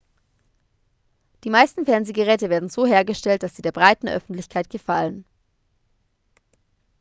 die meisten fernsehgeräte werden so hergestellt dass sie der breiten öffentlichkeit gefallen